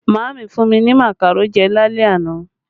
Maami fún mi ní makaro jẹ lálẹ́ àná